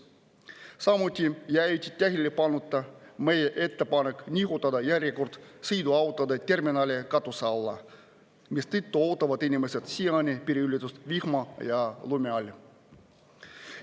Samuti jäi tähelepanuta meie ettepanek nihutada järjekord sõiduautode terminali katuse alla, mistõttu ootavad inimesed siiani piiriületust vihma ja lume käes.